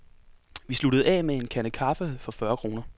Vi sluttede af med en kande kaffe for fyrre kroner.